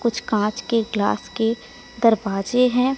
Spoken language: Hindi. कुछ कांच के ग्लास के दरवाजे हैं।